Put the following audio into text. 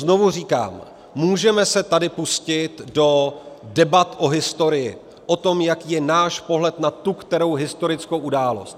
Znovu říkám, můžeme se tady pustit do debat o historii, o tom, jaký je náš pohled na tu kterou historickou událost.